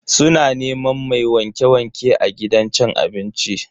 Suna neman mai wanke-wanke a gidan cin abincin.